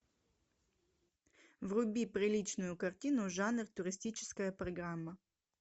вруби приличную картину жанр туристическая программа